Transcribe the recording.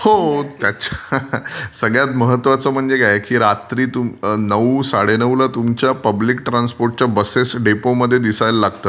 हो, सगळ्यात महत्वाचं म्हणजे काय की रात्री नऊ साडेनऊला तुमच्या पुब्लिस्क ट्रान्सपोर्टच्या बसेस डेपो मध्ये दिसायला लागतात.